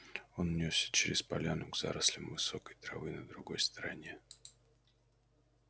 он нёсся через поляну к зарослям высокой травы на другой стороне